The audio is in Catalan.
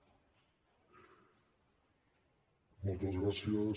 moltes gràcies